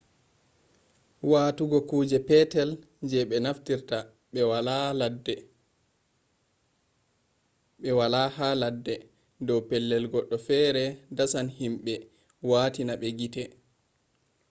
watugo kuje petel je ɓe naftirta ɓe waala ha ladde ha dow pellel goɗɗo fere dasan himɓe watina ma gite